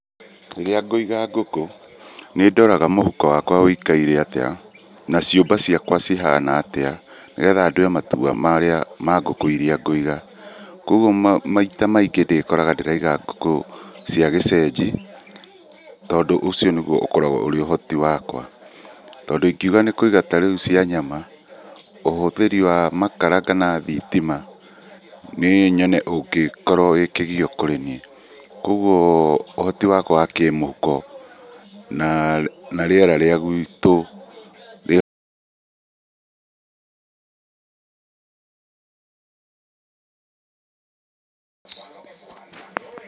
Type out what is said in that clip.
Rĩrĩa ngũiga ngũkũ nĩndoraga mũhuko wakwa wĩkaire atĩa naciũmba ciakwa cihana atĩa nĩgetha ndũe matua marĩa ma ngũkũ iria ngũiga ,kwogu maita maingĩ ndĩrĩkoraga ndĩraiga ngũkũ cia gĩceji tondũ ũcio nĩuo ũkoragwo ũhoti wakwa. Tondũ ĩngĩuga nĩkũiga tarĩũ ngũkũ cia nyama ũhũthĩri wa makara kana thitima nĩnyone ũgĩkĩgio kũrĩ niĩ kwoguo ũhoti wakwa wakĩmũhuko na[uhh]reara rĩa gwitũ